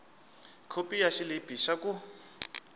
khopi ya xilipi xa ku